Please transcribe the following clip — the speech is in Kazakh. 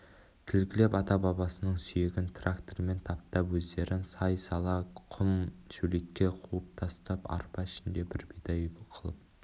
тілгілеп ата-бабасының сүйегін трактормен таптап өздерін сай-сала құм-шөлейтке қуып тастап арпа ішінде бір бидай қылып